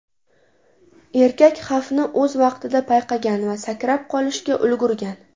Erkak xavfni o‘z vaqtida payqagan va sakrab qolishga ulgurgan.